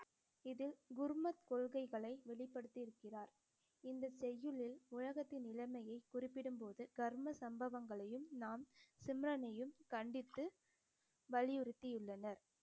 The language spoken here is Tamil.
இதில் குருமத் கொள்கைகளை வெளிப்படுத்தியிருக்கிறார் இந்த செய்யுளில் உலகத்தின் நிலைமையை குறிப்பிடும் போது கர்ம சம்பவங்களையும் நாம் சிம்ரனையும் கண்டித்து வலியுறுத்தியுள்ளனர்